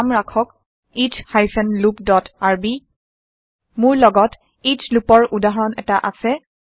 নাম ৰাখক S hyphen loop dot R মোৰ লগত এচ লুপৰ উদাহৰণ এটা আছে